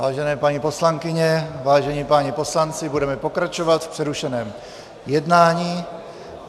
Vážené paní poslankyně, vážení páni poslanci, budeme pokračovat v přerušeném jednání.